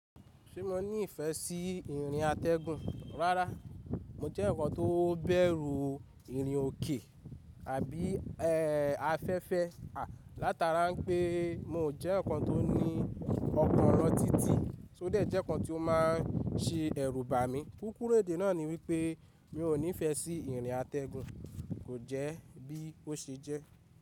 Ṣé mo ní ìfẹ́ sí ìrìn atẹ́gùn? Rárá, mo jẹ́ ǹkan tó bẹ̀rù ìrìn òkè àbí afẹ́fẹ́ látara pé mi ò jẹ́ ǹkan tó ní ọkàn lọ títì, tó dé jẹ́ ǹkan tí ó ma se ẹ̀rù bà mí. Kúkúrú èdè náà ni wípé mi ò nífẹ́ sí ìrìn atẹ́gùn, kò jẹ́ bí ó ṣe jẹ́.